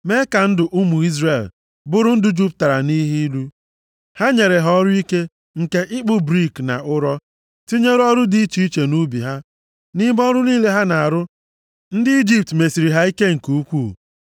mee ka ndụ ụmụ Izrel bụrụ ndụ jupụtara nʼihe ilu. Ha nyere ha ọrụ ike nke ịkpụ brik na ụrọ, tinyere ọrụ dị iche iche nʼubi ha. Nʼime ọrụ niile ha na-arụ, ndị Ijipt mesiri ha ike nke ukwuu.